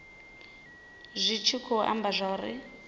zwi tshi khou amba zwauri